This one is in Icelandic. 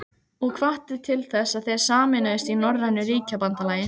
og hvatti til þess, að þeir sameinuðust í norrænu ríkjabandalagi.